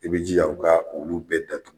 I b'i jija u ka ulu bɛɛ datugu.